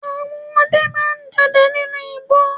Àwọn ọdẹ ma ń dọdẹ nínú igbó.